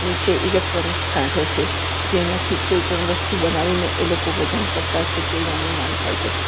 નીચે ઇલેક્ટ્રોનિક્સ કાંટો છે જેનાથી કોઈ પણ વસ્તુ બનાવીને એલોકો વજન કરતા અસે તેવુ અનુમાન થાય છે.